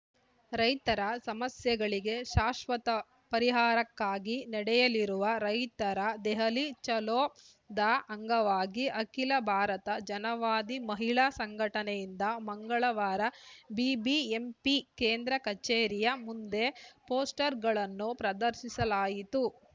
ರೈತರ ಸಮಸ್ಯೆಗಳಿಗೆ ಶಾಶ್ವತ ಪರಿಹಾರಕ್ಕಾಗಿ ನಡೆಯಲಿರುವ ರೈತರ ದೆಹಲಿ ಚಲೋದ ಅಂಗವಾಗಿ ಅಖಿಲ ಭಾರತ ಜನವಾದಿ ಮಹಿಳಾ ಸಂಘಟನೆಯಿಂದ ಮಂಗಳವಾರ ಬಿಬಿಎಂಪಿ ಕೇಂದ್ರ ಕಚೇರಿಯ ಮುಂದೆ ಪೋಸ್ಟರ್‌ಗಳನ್ನು ಪ್ರದರ್ಶಿಸಲಾಯಿತು